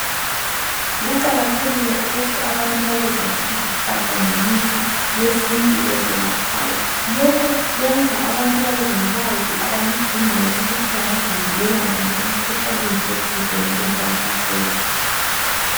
Kuqakathekile ukuthi abantu babesazi izihlahla lemithi yesintu ezelaphayo. Lokho kwenza abantu babelolwazi abaludingayo ukuthi bangazivikela njani emikhuhlaneni ethizeni engabahlasela.